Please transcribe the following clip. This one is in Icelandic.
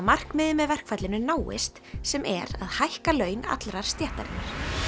markmiðið með verkfallinu náist sem er að hækka laun allrar stéttarinnar